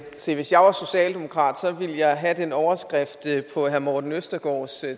se hvis jeg var socialdemokrat ville jeg have den overskrift på herre morten østergaards